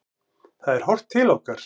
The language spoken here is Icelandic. Það er horft til okkar.